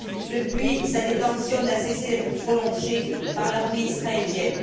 Depuis, sa détention n'a cessé d'être prolongée par l'armée israélienne.